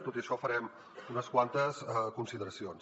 tot i això farem unes quantes consideracions